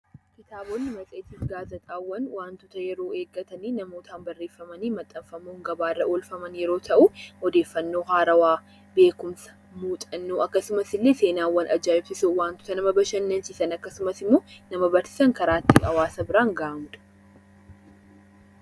Kitaabota matseetii fi gaazexaawwan, waantota yeroo eeggatanii namootaan barreeffamanii maxxanfamuun gabaa irra oolfamu yeroo ta'u, odeeffannoo haarawaa, beekumsa, muuxannoo akkasumas seenaawwan ajaa'ibsiisoo waantota nama bashannansiisan akkasumas immoo nama barsiisan karaa ittiin nama biraan gahanidha.